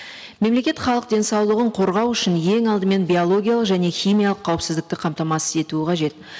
мемлекет халық денсаулығын қорғау үшін ең алдымен биологиялық және химиялық қауіпсіздікті қамтамасыз етуі қажет